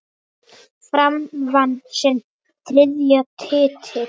Fram vann sinn þriðja titil.